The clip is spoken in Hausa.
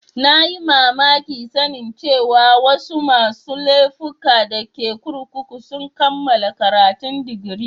Na yi mamaki sanin cewa wasu masun laifuka da ke kurkukun sun kamala karatun digiri.